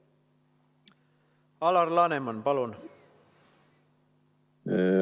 Alar Laneman, palun!